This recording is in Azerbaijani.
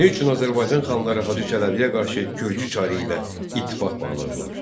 Niyə üçün Azərbaycan xanları Hacı Çələbiyə qarşı gürcü çarı ilə ittifaq bağladılar?